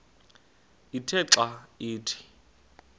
ithe xa ithi